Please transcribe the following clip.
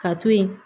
Ka to yen